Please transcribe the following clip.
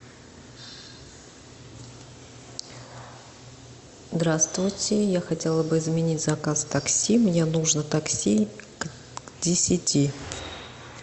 здравствуйте я хотела бы изменить заказ такси мне нужно такси к десяти